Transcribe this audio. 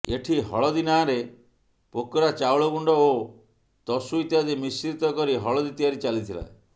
ଏଠି ହଳଦୀ ନାଆରେ ପୋକରା ଚାଉଳ ଗୁଣ୍ଡ ଓ ତସୁ ଇତ୍ୟାଦି ମିଶ୍ରିତ କରି ହଳଦୀ ତିଆରି ଚାଲିଥିଲା